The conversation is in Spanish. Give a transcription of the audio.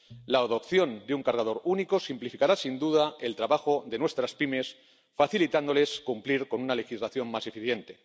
La adopción de un cargador único simplificará, sin duda, el trabajo de nuestras pymes, facilitándoles el cumplimiento de una legislación más eficiente.